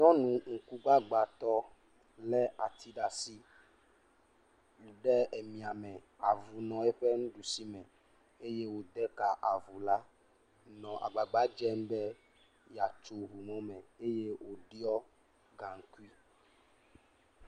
Nyɔnuŋkugbagbatɔ lé ati ɖe asi, ɖe emiame avu nɔ eƒe nuɖusi me eye wòde ka avu la, nɔ agbagba dzem be yeatso eŋu mɔ me eye wòɖiɔ gaŋkui.